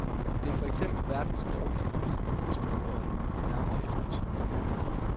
Det er for eksempel verdens dårligste film, hvis man går den nærmere efter i sømmene.